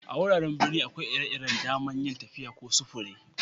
A'wuraren birni akwai ire-iren da'man yin tafiya ko sufure.